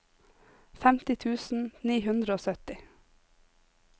femti tusen ni hundre og sytti